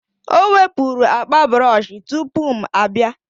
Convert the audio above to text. o wepụrụ akpa brọsh tupu m abịa